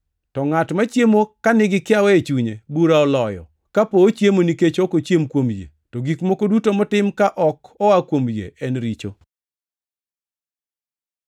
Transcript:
To ngʼat machiemo ka nigi kiawa e chunye bura oloyo kapo ochiemo nikech ok ochiem kuom yie; to gik moko duto motim ka ok oa kuom yie en richo.